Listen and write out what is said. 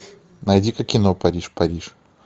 найди ка кино париж париж